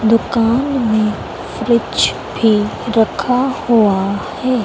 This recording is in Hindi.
दुकान में फ्रिज भी रखा हुआ है।